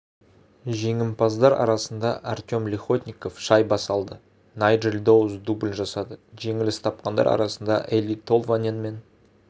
жеңімпаздар арасында артем лихотников шайба салды найджел доус дубль жасады жеңіліс тапқандар арасында эли толванен мен